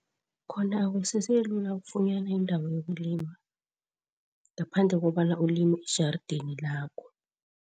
Khona akusese lula ukufunyana indawo yokulima, ngaphandle kobana ulime ejarideni lakho.